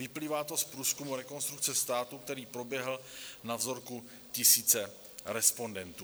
Vyplývá to z průzkumu Rekonstrukce státu, který proběhl na vzorku tisíce respondentů.